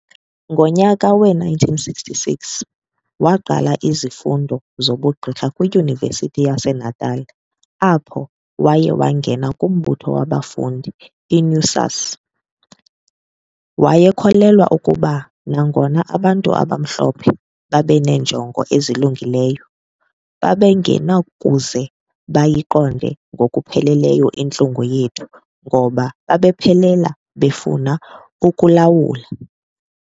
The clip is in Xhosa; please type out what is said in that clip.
Ngonyaka we-1966 waqala izifundo zobu Gqirha kwiDyunivesithi yaseNatal apho waye wangena kumbutho wabafundi i-NUSAS . Wayekholelwa ukuba, nangona abantu abamhlophe babeneenjongo ezilungileyo, babengenakuze bayiqonde ngokupheleleyo intlungu yethu ngokuba babephela befuna ukulawula. .